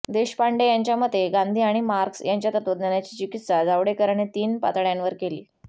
देशपांडे यांच्या मते गांधी आणि मार्क्स यांच्या तत्त्वज्ञानाची चिकित्सा जावडेकरांनी तीन पातळ्यांवर केली